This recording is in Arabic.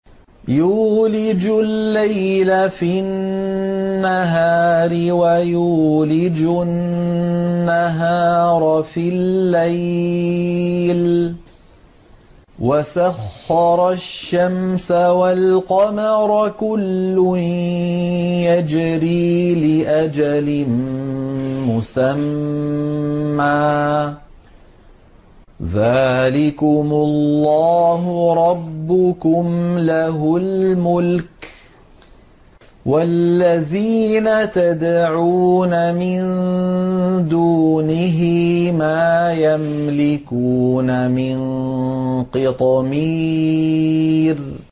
يُولِجُ اللَّيْلَ فِي النَّهَارِ وَيُولِجُ النَّهَارَ فِي اللَّيْلِ وَسَخَّرَ الشَّمْسَ وَالْقَمَرَ كُلٌّ يَجْرِي لِأَجَلٍ مُّسَمًّى ۚ ذَٰلِكُمُ اللَّهُ رَبُّكُمْ لَهُ الْمُلْكُ ۚ وَالَّذِينَ تَدْعُونَ مِن دُونِهِ مَا يَمْلِكُونَ مِن قِطْمِيرٍ